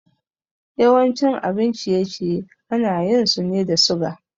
Yawancin abin ciye-ciye ana yin sune da suga